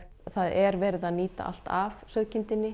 það er verið að nýta allt af sauðkindinni